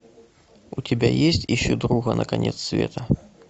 у тебя есть ищу друга на конец света